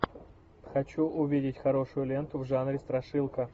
хочу увидеть хорошую ленту в жанре страшилка